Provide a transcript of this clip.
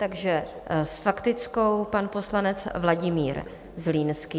Takže s faktickou pan poslanec Vladimír Zlínský.